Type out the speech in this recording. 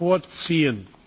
Minuten vorziehen.